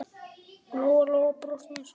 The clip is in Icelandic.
Lóa-Lóa brosti með sjálfri sér.